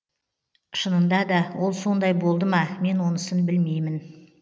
шынында да ол сондай болды ма мен онысын білмеймін